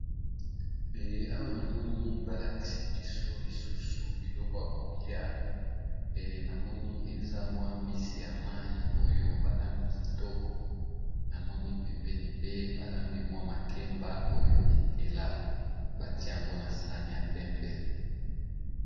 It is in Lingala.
Awa na moni balakisi biso biloko ya kolia na moni eza mbisi ya mai oyo balambi pepesupu, na pembeni pe balambi mwa makemba oyo etela batie yango na sani ya pembe.